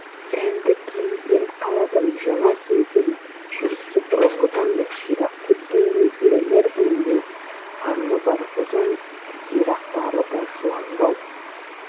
сәнді киінген қаладан жаңа келген жүрісі бұрынғыдан да ширап кеткендей білінер білінбес қарыны бар ұзын сирақтары да жуандай